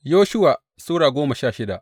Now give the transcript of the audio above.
Yoshuwa Sura goma sha shida